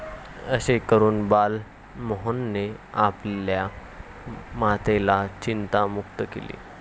असे करून बाल मोहनने आपल्या मातेला चिंता मुक्त केले.